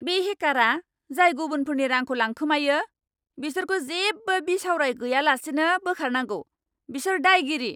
बे हेकारा, जाय गुबुनफोरनि रांखौ लांखोमायो, बिसोरखौ जेबो बिसावराय गैयालासेनो बोखारनांगौ। बिसोर दायगिरि!